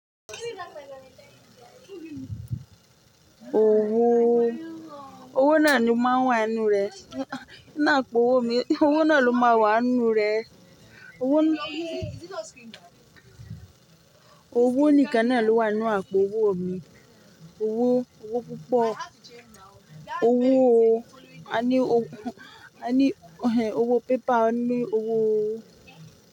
Owó, owó náà ni máa n wà n nú rẹ̀. Àpò owó mi, owó náà ló máa wà n nú rẹ̀. Owó nìkan náà ló wà n nú àpò owó mi. Owó, owó púpọ̀, owó o. A ni a ní owó, a ní owó pépà, a ní òwó o.